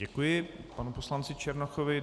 Děkuji panu poslanci Černochovi.